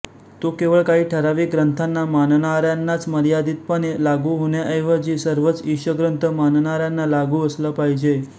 तो केवळ काही ठराविक ग्रंथाना मानणाऱ्यानाच मर्यादितपणे लागू होण्याऐवजी सर्वच ईशग्रंथ मानणाऱ्याना लागू असला पाहिजे